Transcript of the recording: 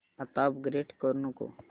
आता अपग्रेड करू नको